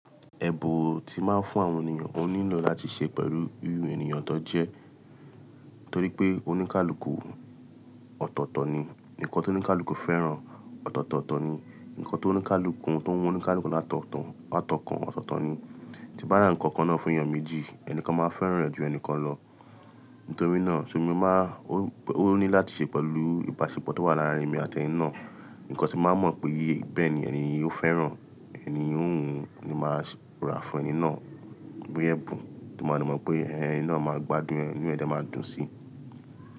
Ẹ̀bù tí máa ń fún àwọn ènìyàn, ó nílò láti ṣe pẹ̀lú ìrú ènìyàn tó jẹ́. Nítorí pé oníkálukú ọ̀tọ̀ọ̀tọ̀ ni, ǹkan tó ní kálu fẹ́ràn ọ̀tọ̀ọ̀tọ̀ ni, ǹkan tó ní kálu tó mú oníkálukú láto tàn wá tọ́ ọkàn ọ̀tọ̀ọ̀tọ̀ ni. Ti bá ra ǹkan kan náà fún ènìyàn méjì, ẹnìkan máa fẹ́ràn rẹ̀ ju ẹnìkan lọ. Nítorí náà, ṣé mo má ó ní láti ṣe pẹ̀lú ìbáṣepọ̀ tó wà láàárín èmi àti ẹni náà. Ǹkan ti mbáa mọ̀ pé bẹ́ẹ̀ ni ènìyí ó fẹ́ràn. Ẹni híhun ni máa rà fún ẹni náà bóyá ẹ̀bùn tí mo máa mọ̀ pé ẹni náà máa gbádùn inu ẹ́ẹ̀ dema dùn sí.